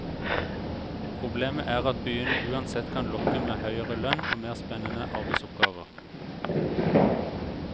Problemet er at byene uansett kan lokke med høyere lønn og mer spennende arbeidsoppgaver.